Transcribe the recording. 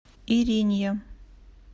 иринья